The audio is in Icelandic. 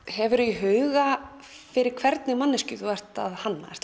hefurðu í huga fyrir hvernig manneskju þú ert að hanna